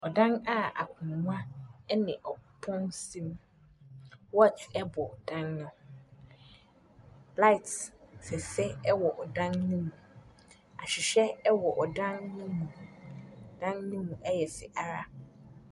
Ɔdan a akonwa ɛne ɔpono si mu. Wɔkye ɛbɔ dan ne ho. Laet fɛfɛ ɛwowɔ ɔdan ne mu. Ahwehwɛ ɛwɔ ɔdan ne mu. Dan no mu ɛyɛ fɛ ara.